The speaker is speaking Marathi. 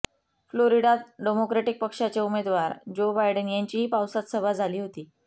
फ्लोरिडात डेमोक्रेटिक पक्षाचे उमेदवार जो बायडेन यांचीही पावसात सभा झाली होती